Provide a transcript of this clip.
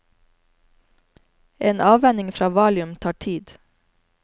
En avvenning fra valium tar tid.